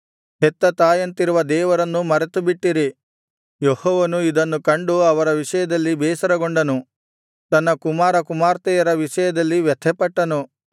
ಯೆಹೋವನು ಇದನ್ನು ಕಂಡು ಅವರ ವಿಷಯದಲ್ಲಿ ಬೇಸರಗೊಂಡನು ತನ್ನ ಕುಮಾರ ಕುಮಾರ್ತೆಯರ ವಿಷಯದಲ್ಲಿ ವ್ಯಥೆಪಟ್ಟನು